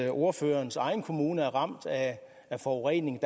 at ordførerens egen kommune er ramt af forurening